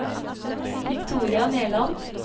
Victoria Nerland